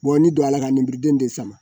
n'i don la ka ninmeden de sama